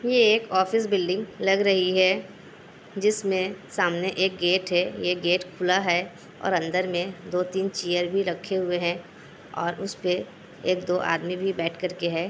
ये एक office building लग रही है जिसमे सामने एक गेट है। ये गेट खुला है और अन्दर मे दो-तीन चेयर भी रखे हुए है। उसपे एक-दो आदमी भी बैठकर के है।